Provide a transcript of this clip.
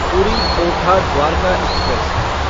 पूरी ओखा द्वारका एक्सप्रेस